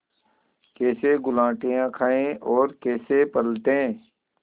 कैसे गुलाटियाँ खाएँ और कैसे पलटें